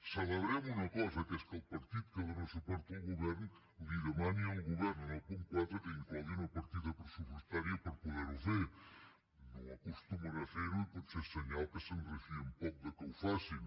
celebrem una cosa que és que el partit que dóna suport al govern demani al govern en el punt quatre que inclogui una partida pressupostària per poder ho fer no acostumen a fer ho i potser és senyal que se’n refien poc que ho facin